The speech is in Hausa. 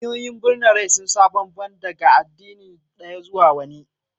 Hanyoyin birna mara rai sun sa ban-ban daga addini ɗaya zuwa wani.